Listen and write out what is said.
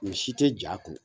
Ni si ti ja kun .